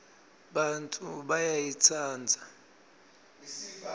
bantfu bayayitsandza